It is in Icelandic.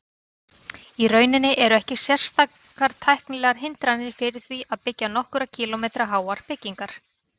Í rauninni eru ekki sérstakar tæknilegar hindranir fyrir því að byggja nokkurra kílómetra háar byggingar.